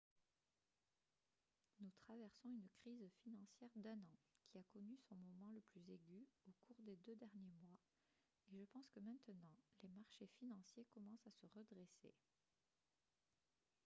nous traversons une crise financière d'un an qui a connu son moment le plus aigu au cours des deux derniers mois et je pense que maintenant les marchés financiers commencent à se redresser. »